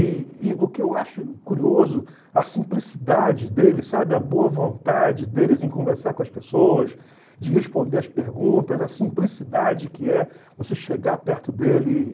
E e o que eu acho curioso, a simplicidade dele, sabe, a boa vontade deles em conversar com as pessoas, de responder as perguntas, a simplicidade que é você chegar perto dele e